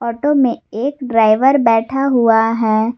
Auto में एक driver बैठा हुआ है।